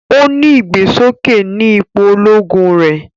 O ni igbesoke ní ipò Ológùn rẹ